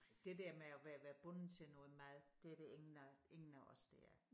Det der med at være være bunden til noget mad det er der ingen af ingen af os der er